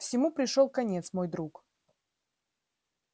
всему пришёл конец мой друг